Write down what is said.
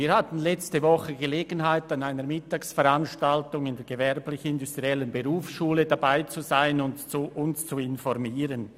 Wir hatten letzte Woche Gelegenheit, an einer Mittagsveranstaltung der Gewerblich-Industriellen Berufsschule Bern (gibb) teilzunehmen und uns darüber zu informieren.